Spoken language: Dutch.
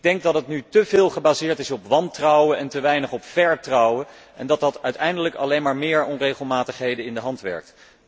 Ik denk dat het nu te veel gebaseerd is op wantrouwen en te weinig op vertrouwen, en dat dat uiteindelijk alleen maar meer onregelmatigheden in de hand werkt.